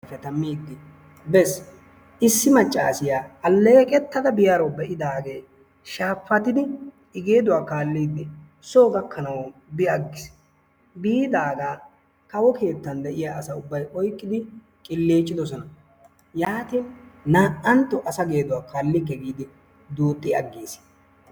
bees. issi maccassiya alleeqetada biyaaro be'idaage shaapatidi geeduwaa kaallidi soo gakkanaw bi agiis. biidaaga kawo keettan de'iyaa asay ubbay oyqqidi qillicoosona. yaatin naa''antto asa geeduwaa kaalikke giidi duuxxi agiis.